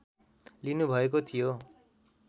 लिनु भएको थियो